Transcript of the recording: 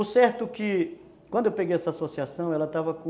O certo que, quando eu peguei essa associação, ela estava com...